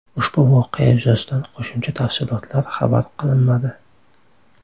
Ushbu voqea yuzasidan qo‘shimcha tafsilotlar xabar qilinmadi.